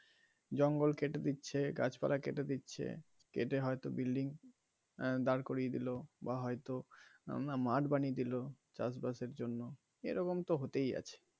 জঙ্গল কেটে দিচ্ছে গাছ পালা কেটে দিচ্ছে কেটে হয় তো building আহ দাঁড় করিয়ে দিলো বা হয় তো মাঠ বানিয়ে দিলো চাষ বাসের জন্য এরকম তো হতেই আছে.